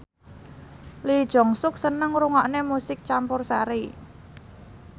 Lee Jeong Suk seneng ngrungokne musik campursari